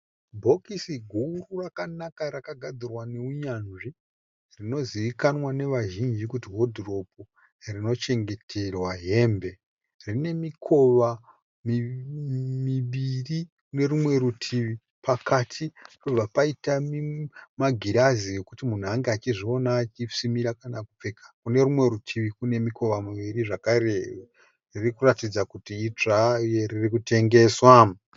Bhokisi guru rakanaka rakagadzirwa neunyanzvi rinozivikanwa navazhinji kuti wodhiropu rinochengeterwa hembe. Rine mikova miviri kuno rumwe rutivi, pakati pobva paita magirazi okuti munhu ange achizviona achisimira kana kupfeka. Kuno rumwe rutivi kune mikova miviri zvakare. Riri kuratidza kuti idzva uye riri kutengeswa.